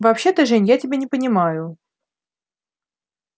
вообще-то жень я тебя не понимаю